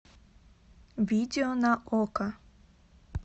видео на окко